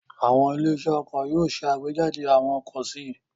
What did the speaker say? Àwọn ilé-iṣẹ́ ọkọ̀ yóò ṣe àgbéjáde àwọn ọkọ̀ sí i.